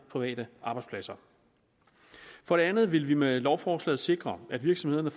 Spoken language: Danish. private arbejdspladser for det andet vil vi med lovforslaget sikre at virksomhederne